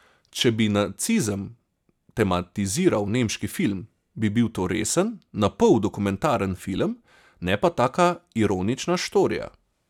Če bi nacizem tematiziral nemški film, bi bil to resen, na pol dokumentaren film, ne pa taka ironična štorija.